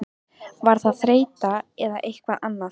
Var það þreyta eða eitthvað annað?